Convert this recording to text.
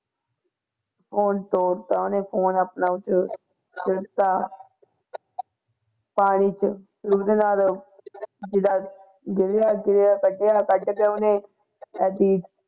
Phone ਡੋਬ ਦਿੱਤਾ ਉਹਨੇ phone ਆਪਣਾ ਫਿਰ ਸੁੱਟਤਾ ਪਾਣੀ ਚ ਉਸਦੇ ਨਾਲ ਜਿਹੜਾ ਡਿੱਗਿਆ ਸੀਗਾ ਕੱਢਿਆ ਕੱਢਕੇ ਉਹਨੇ ਏਦੀਂ